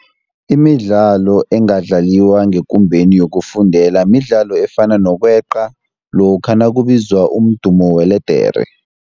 Imidlalo engadlaliwa ngekumbeni yokufundela midlalo efana nokweqa lokha nakubizwa umdumo weledere.